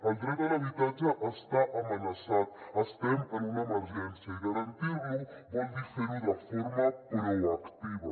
el dret a l’habitatge està amenaçat estem en una emergència i garantir lo vol dir fer ho de forma proactiva